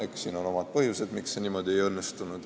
Eks siin on omad põhjused, miks see ei õnnestunud.